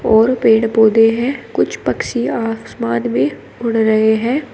और पेड़ पौधे हैं कुछ पक्षियां आसमान में उड़ रहे हैं।